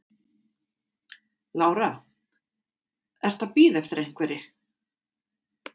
Lára: Ertu að bíða eftir einhverri?